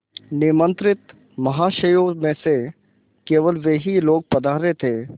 निमंत्रित महाशयों में से केवल वे ही लोग पधारे थे